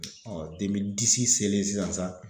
selen sisan